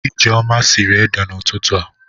Ijeoma siri ede n'ututu a.